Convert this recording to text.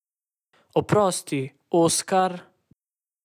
Oprosti, Oskar!